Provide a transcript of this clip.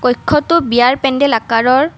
কক্ষ্যটো বিয়াৰ পেণ্ডেল আকাৰৰ।